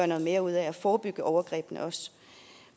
noget mere ud af at forebygge overgrebene